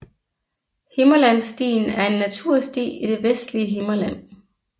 Himmerlandsstien er en natursti i det vestlige Himmerland